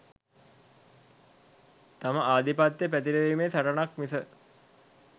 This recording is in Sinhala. තම ආධිපත්‍යය පැතිරවීමෙ සටනක් මිස